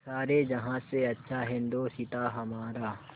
सारे जहाँ से अच्छा हिन्दोसिताँ हमारा